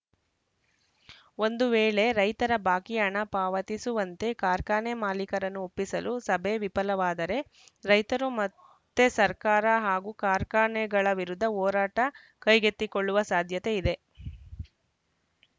ಒಂದು ವೇಳೆ ರೈತರ ಬಾಕಿ ಹಣ ಪಾವತಿಸುವಂತೆ ಕಾರ್ಖಾನೆ ಮಾಲೀಕರನ್ನು ಒಪ್ಪಿಸಲು ಸಭೆ ವಿಫಲವಾದರೆ ರೈತರು ಮತ್ತೆ ಸರ್ಕಾರ ಹಾಗೂ ಕಾರ್ಖಾನೆಗಳ ವಿರುದ್ಧ ಹೋರಾಟ ಕೈಗೆತ್ತಿಕೊಳ್ಳುವ ಸಾಧ್ಯತೆ ಇದೆ